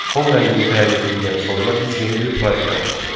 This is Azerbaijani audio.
Fon rəngini təyin etdikdən sonra biz yeni bir proyekt yaratmalıyıq.